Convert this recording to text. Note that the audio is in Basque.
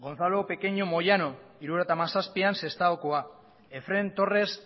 gonzalo pequeño moyano mila bederatziehun eta hirurogeita hamazazpian sestaokoa efrén torres